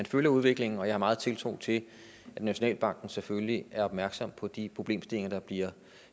følger udviklingen og jeg har meget tiltro til at nationalbanken selvfølgelig er opmærksom på de problemstillinger der bliver